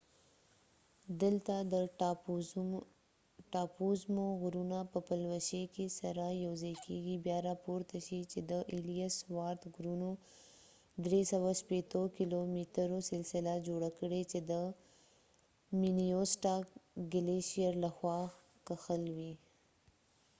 دلته د ټاپووزمو غرونه په پلوشې کې سره یو ځای کیږي بیا راپورته شئ چې د ایلیس وارت غرونو 360 کیلو مترو سلسله جوړه کړئ چې د مینیسوټا ګلیشیر لخوا کښل شوی